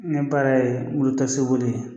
Ne baara ye moto boli ye.